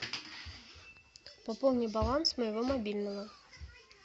пополни баланс моего мобильного